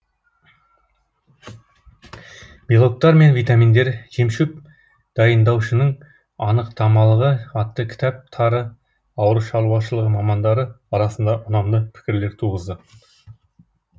белоктар мен витаминдер жемшоп дайындаушының анықтамалығы атты кітаптары ауылшаруашылығы мамандары арасында ұнамды пікірлер туғызды